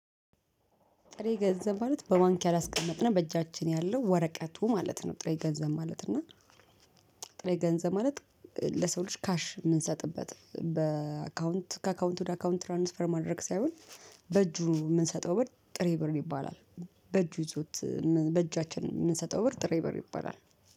ጥሬ ገንዘብ ማለት በባንክ ያላስቀመጥነው በእጃችን ያለው ወረቀቱ ማለት ነው። ጥሬ ገንዘብ ማለት እና ጥሬ ገንዘብ ማለት ለሰው ልጅ ካሽ የምንሰጥበት በአካውንት ከአካውንቱ ወደ አካውንት ትራንስፈር ማድረግ ሳይሆን በእጁ የምንሰጠው በር ጥሬ ብር ይባላል። በእጁ ይዞት በእጃችን የምንሰጠው ብር ጥሬ ብር ይባላል